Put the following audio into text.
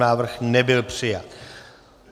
Návrh nebyl přijat.